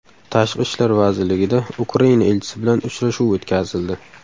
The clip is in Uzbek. Tashqi ishlar vazirligida Ukraina elchisi bilan uchrashuv o‘tkazildi.